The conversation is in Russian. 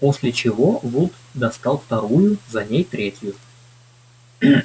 после чего вуд достал вторую за ней третью